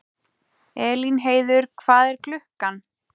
Elínheiður, hvað er klukkan?